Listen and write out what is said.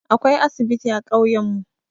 Akwai asibiti a ƙauyan mu.